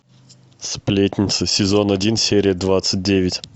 сплетница сезон один серия двадцать девять